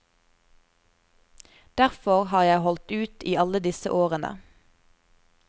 Derfor har jeg holdt ut i alle disse årene.